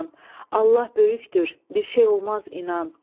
Allah böyükdür, bir şey olmaz inan.